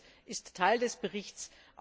Auch dies ist Teil des Berichts.